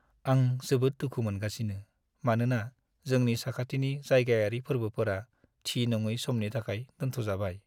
आं जोबोद दुखु मोनगासिनो, मानोना जोंनि साखाथिनि जायगायारि फोर्बोफोरा थि-नङै समनि थाखाय दोनथ'जाबाय।